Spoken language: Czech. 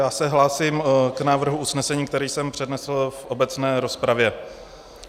Já se hlásím k návrhu usnesení, který jsem přednesl v obecné rozpravě.